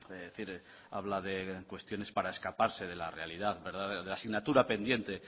es decir habla de cuestiones para escaparse de la realidad de la asignatura pendiente